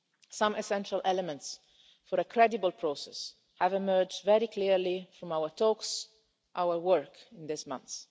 Some essential elements for a credible process have emerged very clearly from our talks and our work in these months.